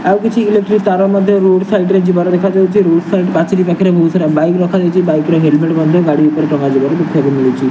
ଆଉ କିଛି ଇଲେକ୍ଟ୍ରି ତାର ମଧ୍ୟ ରୋଡ଼୍ ସାଇଡ଼୍ ରେ ଯିବାର ଦେଖାଯାଉଚି ରୋଡ଼୍ ସାଇଡ଼୍ ପାଚେରୀ ପାଖେରେ ବୋହୁତ୍ ସାରା ବାଇକ୍ ରଖାଯାଇଚି ବାଇକ୍ ର ହେଲମେଟ୍ ମଧ୍ୟ ଗାଡ଼ି ଉପରେ ଟଙ୍ଗା ଯିବାର ଦେଖା ପଡ଼ୁଅଛି।